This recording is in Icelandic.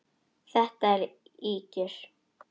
Þetta eru ýkjur!